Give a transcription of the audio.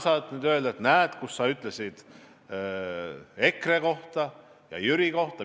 Sina saad nüüd öelda, et näed, kus ma ikka ütlesin EKRE kohta ja Jüri kohta.